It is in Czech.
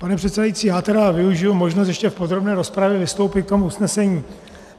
Pane předsedající, já tedy využiji možnost ještě v podrobné rozpravě vystoupit k tomu usnesení.